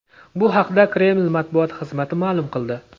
Bu haqda Kreml matbuot xizmati ma’lum qildi .